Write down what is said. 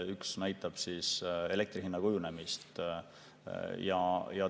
Üks näitab elektri hinna kujunemist.